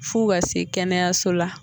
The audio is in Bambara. F'u ka se kɛnɛyaso la